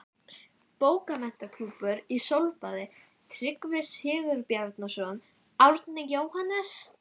Bókmenntaklúbbur í sólbaði: Tryggvi Sigurbjarnarson, Árni, Jóhannes